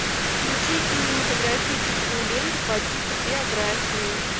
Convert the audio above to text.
включи кинематографическую ленту по типу биографии